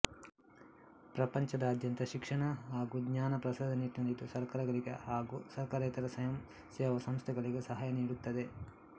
ಪ್ರಪಂಚದಾದ್ಯಂತ ಶಿಕ್ಷಣ ಹಾಗೂ ಜ್ಞಾನ ಪ್ರಸಾರದ ನಿಟ್ಟಿನಲ್ಲಿ ಇದು ಸರ್ಕಾರಗಳಿಗೆ ಹಾಗೂ ಸರ್ಕಾರೇತರ ಸ್ವಯಂ ಸೇವಾ ಸಂಸ್ಥೆಗಳಿಗೆ ಸಾಹಯ ನೀಡುತ್ತದೆ